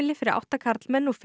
fimm konur